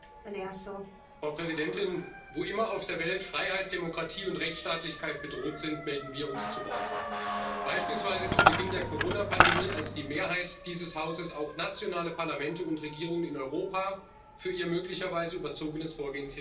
Frau Präsidentin! Wo immer auf der Welt Freiheit, Demokratie und Rechtsstaatlichkeit bedroht sind, melden wir uns zu Wort, beispielsweise zu Beginn der Corona Pandemie, als die Mehrheit dieses Hauses auch nationale Parlamente und Regierungen in Europa für ihr möglicherweise überzogenes Vorgehen kritisiert hat.